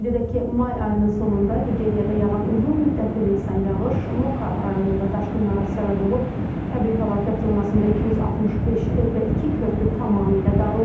Qeyd edək ki, may ayının sonunda Nigeriyada yağan uzunmüddətli leysan yağış Moka rayonunda daşqınlara səbəb olub, təbii fəlakət zonasında 265 ev və iki körpü tamamilə dağılıb.